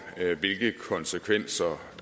altså